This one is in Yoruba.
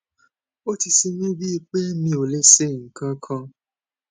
ó ti ṣe mí bíi pé mi ò lè ṣe nǹkan kan